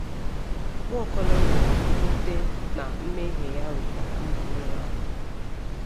Nwaokolo nụrụ mwute na mmehie ya wetara mba niile ahụhụ.